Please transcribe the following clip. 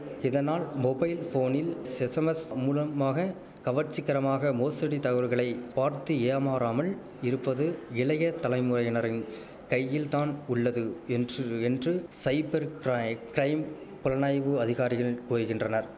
இதனால் மொபைல் போனில் ஸெஸ்ஸமெஸ் மூலம்மாக கவர்ச்சிக்கரமாக மோசடி தசவல்களை பார்த்து ஏமாறாமல் இருப்பது இளைய தலைமுறையினரின் கையில்தான் உள்ளது என்று என்று சைபர் கிரை கிரைம் புலனாய்வு அதிகாரிகள் ஓய்கின்றனர்